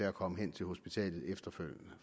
at komme hen til hospitalet efterfølgende